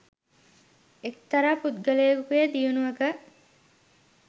එක්තරා පුද්ගලයකුගේ දියණියක